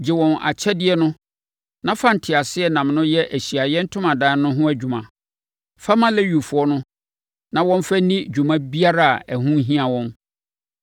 “Gye wɔn akyɛdeɛ no na fa nteaseɛnam no yɛ Ahyiaeɛ Ntomadan no ho adwuma. Fa ma Lewifoɔ no na wɔmfa nni dwuma biara a ɛho hia wɔn.”